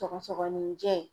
Tɔgɔsɔgɔnijɛ.